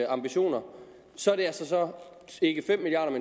ambitioner så er det ikke fem milliard